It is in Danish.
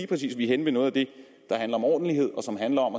præcis vi er henne ved noget af det der handler om ordentlighed og som handler om